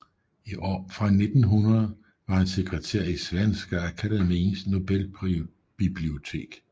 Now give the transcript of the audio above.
Fra 1900 var han sekretær i Svenska Akademiens Nobelbibliotek